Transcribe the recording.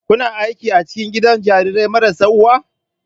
Kuna aiki a cikin gidan jarirai marasa uwa?